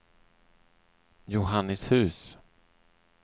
Johannishus